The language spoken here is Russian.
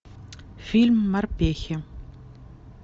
фильм морпехи